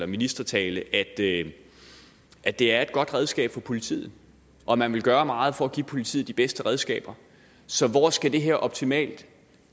ministertale at det at det er et godt redskab for politiet og man vil gøre meget for at give politiet de bedste redskaber så hvor skal det her optimalt